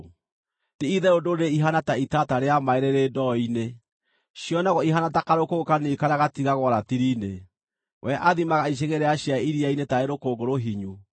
Ti-itherũ ndũrĩrĩ ihaana ta itata rĩa maaĩ rĩrĩ ndoo-inĩ; cionagwo ihaana ta karũkũngũ kanini karĩa gatigagwo ratiri-inĩ; we athimaga icigĩrĩra cia iria-inĩ taarĩ rũkũngũ rũhinyu.